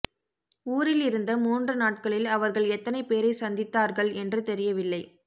ஊரில் இருந்த மூன்று நாட்களில் அவர்கள் எத்தனை பேரைச் சந்தித்தார்கள் என்று தெரியவில்லை